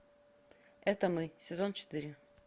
это мы сезон четыре